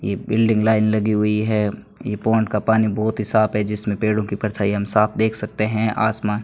यह बिल्डिंग लाइन लगी हुई है यह पौंड का पानी बहुत ही साफ है जिसमें पेड़ों की परछाई हम साफ देख सकते हैं आसमान --